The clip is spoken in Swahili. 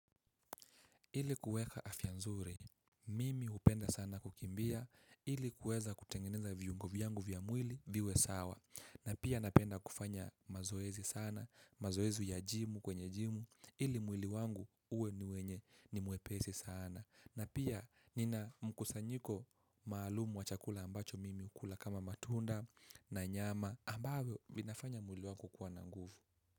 Ili kuweka afya nzuri, mimi hupenda sana kukimbia, ili kuweza kutengeneza viungo vyangu vya mwili, viwe sawa. Na pia napenda kufanya mazoezi sana, mazoezi ya jimu kwenye jimu, ili mwili wangu uwe ni wenye ni mwepesi sana. Na pia nina mkusanyiko maalumu wa chakula ambacho mimi ukula kama matunda na nyama ambayo vinafanya mwili wangu kwa na nguvu.